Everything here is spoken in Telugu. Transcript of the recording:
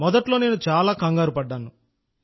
మొదట్లో నేను చాలా కంగారు పడ్డాను